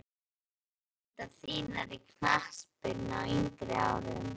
Hverjar voru fyrirmyndir þínar í knattspyrnu á yngri árum?